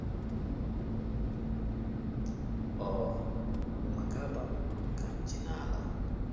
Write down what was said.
Ọ bụ maka abamuru unu ka m ji na - ala.